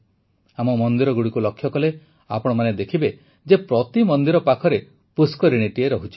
ଆମ ମନ୍ଦିରଗୁଡ଼ିକୁ ଲକ୍ଷ୍ୟ କଲେ ଆପଣମାନେ ଦେଖିବେ ଯେ ପ୍ରତି ମନ୍ଦିର ପାଖରେ ପୁଷ୍କରିଣୀଟିଏ ରହୁଛି